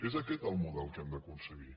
és aquest el model que hem d’aconseguir